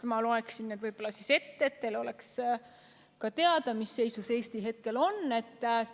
Ma loen need riigid ette, et teil oleks teada, mis seisus Eesti hetkel on.